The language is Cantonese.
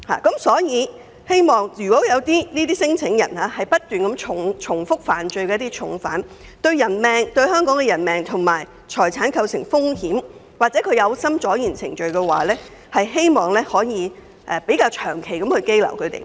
因此，如有聲請人不斷重複犯罪，對香港構成人命及財產方面的風險或有心拖延審批程序，希望當局可作出長時間的羈留。